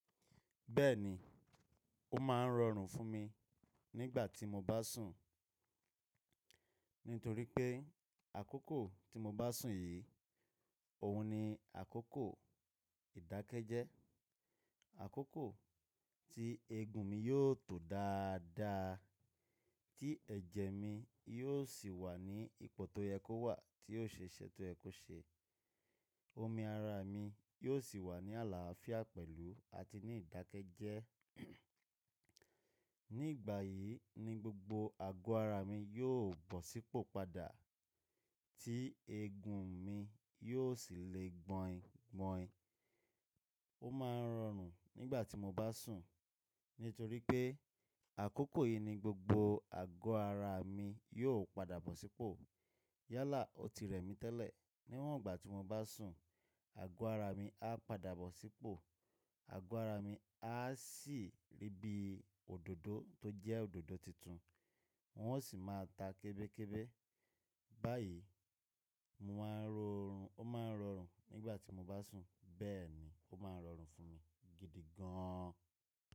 Bẹ́ẹ̀ni, ó máa ń rọrùn fún mi nígbà tí mo bá sùn, nítorí pé àkókò tí mo bá sùn yìí, òun ni àkókò ìdákẹ́jẹ́, àkókò tí eegun mi yóò tó dáadáa, tí ẹ̀jẹ̀ mi yóò sì wà ní ipò tó yẹ kó wà, tí ó ṣe ìṣẹ̀ tó yẹ kó ṣe. Omi ara mi yóò sì wà ní àlàáfíà pẹ̀lú àti ní ìdákẹ́jẹ́. Nígbà yìí ni gbogbo àgọ́ ara mi yóò bọ̀ sípò padà, tí eegun mi yóò sì le gbọ̀yìngbọ̀yin Ó máa ń rọrùn nígbà tí mo bá sùn, nítorí pé àkókò yìí ni gbogbo àgọ́ ara mi yóò padà bọ̀ sípò. Yálà, ó ti rẹ̀ mí tẹ́lẹ̀. Níwọ́n ìgbà tí mo bá sùn, àgọ́ ara mi á padà bọ̀ sípò, àgọ́ ara mi á sì rí bí òdòdó tó jẹ́ òdòdó titun, wọn ó sì máa ta kébékébá. Báyìí, mo máa ń rọorùn, ó máa ń rọrùn nígbà tí mo bá sùn. Bẹ́ẹ̀ni, ó máa ń rọrùn fún mi gidi gán an.